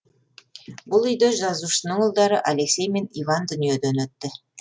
бұл үйде жазушының ұлдары алексей мен иван дүниеден өтті